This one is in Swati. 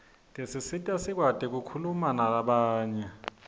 tisisita sikwati kukhulumanalabanye